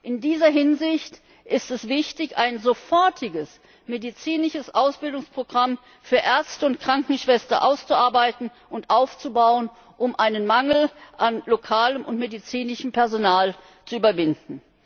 In dieser Hinsicht ist es wichtig, ein sofortiges medizinisches Ausbildungsprogramm für Ärzte und Krankenschwestern auszuarbeiten, um den Mangel an lokalem und medizinischem Personal zu überwinden.